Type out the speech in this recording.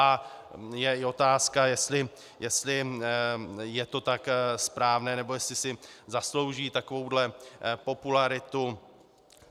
A je i otázka, jestli je to tak správné, nebo jestli si zaslouží takovouto popularitu.